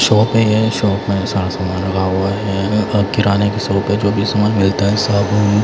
shop है ये shop में सारा सामान लगा हुआ हैं अ किराने की शॉप है जो भी सामान मिलता है सब--